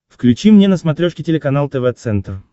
включи мне на смотрешке телеканал тв центр